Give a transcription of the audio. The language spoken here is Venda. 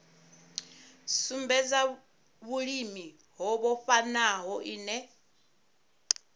sumbedza vhulimi ho vhofhanaho ine